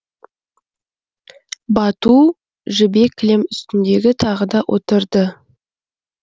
бату жібек кілем үстіндегі тағы да отырды